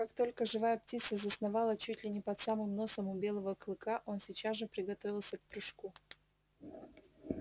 как только живая птица засновала чуть ли не под самым носом у белого клыка он сейчас же приготовился к прыжку